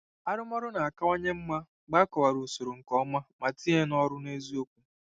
Arụmọrụ na-akawanye mma mgbe a kọwara usoro nke ọma ma tinye ya n'ọrụ n'eziokwu.